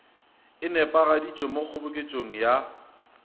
e nepišitšwego mo kgoboketšong ya